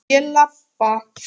Ég labba.